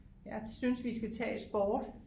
Jeg synes vi skal tage sport